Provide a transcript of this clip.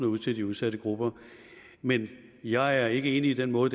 ud til de udsatte grupper men jeg ikke enig i den måde